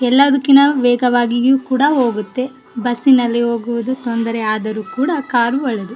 ಎಲ್ಲದಕ್ಕಿನ್ನ ವೇಗವಾಗಿಯೂ ಕೂಡ ಹೋಗುತ್ತ್ತೇ ಬಸ್ಸಿ ನಲ್ಲಿ ಹೋಗುವುದು ತೊಂದರೆ ಆದರೆ ಕೂಡ ಕಾರು ಇಳ್ಳೆದು --